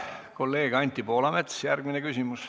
Kolleeg Anti Poolamets, järgmine küsimus.